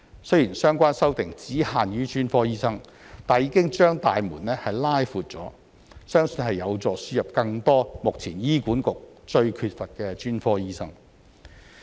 雖然相關修正案只限於專科醫生，但已經"把大門拉闊了"，相信有助輸入更多目前醫管局最缺乏的專科醫生。